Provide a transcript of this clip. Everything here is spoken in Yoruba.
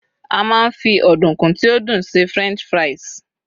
a ma n fi ọdunkun ti o dun se french fries